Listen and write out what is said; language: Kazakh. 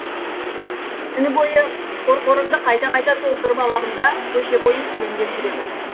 түні бойы қорқорымды қайта қайта толтырып аламын да көше бойы селеңдеп жүремін